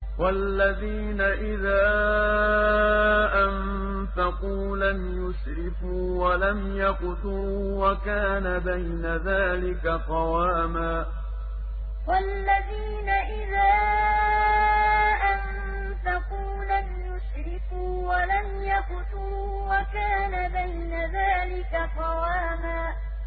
وَالَّذِينَ إِذَا أَنفَقُوا لَمْ يُسْرِفُوا وَلَمْ يَقْتُرُوا وَكَانَ بَيْنَ ذَٰلِكَ قَوَامًا وَالَّذِينَ إِذَا أَنفَقُوا لَمْ يُسْرِفُوا وَلَمْ يَقْتُرُوا وَكَانَ بَيْنَ ذَٰلِكَ قَوَامًا